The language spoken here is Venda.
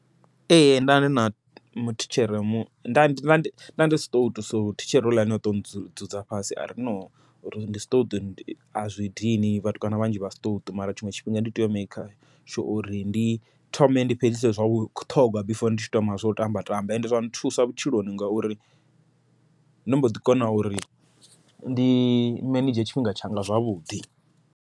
Ee ndana muthitshere nda ndi siṱouṱu so thitshere houḽani oto dzudza fhasi, ari no uri ndi siṱouṱu azwi dini vhatukana vhanzhi vha siṱouṱu mara tshiṅwe tshifhinga ndi tea u maker sure ndi thome ndi fhedzise zwa vhuṱhogwa before ndi tshi thoma zwo tamba tamba, ende zwa nthusa vhutshiloni ngauri ndo mboḓi kona uri ndi manedzhe tshifhinga tshanga zwavhuḓi.